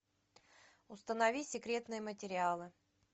установи секретные материалы